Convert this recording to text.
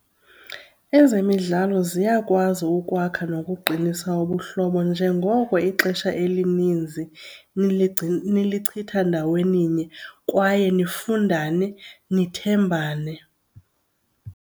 Ezemidlalo ziyakwazi ukwakha nokuqinisa ubuhlobo njengoko ixesha elininzi nilichitha ndaweninye kwaye nifundane, nithembane.